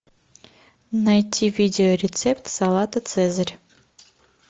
найти видеорецепт салата цезарь